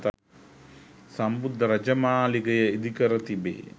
සම්බුද්ධ රාජමාලිගය ඉදිකර තිබේ